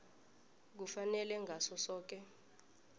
kufanele ngaso soke